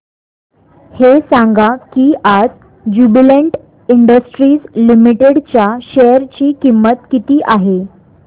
हे सांगा की आज ज्युबीलेंट इंडस्ट्रीज लिमिटेड च्या शेअर ची किंमत किती आहे